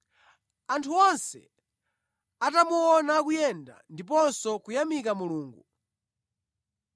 Anthu onse atamuona akuyenda ndiponso kuyamika Mulungu,